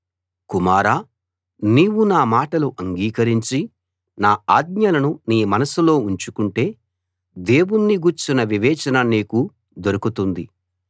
కుమారా నీవు నా మాటలు అంగీకరించి నా ఆజ్ఞలను నీ మనసులో ఉంచుకుంటే దేవుణ్ణి గూర్చిన వివేచన నీకు దొరుకుతుంది